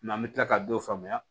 an bɛ tila ka dɔ faamuya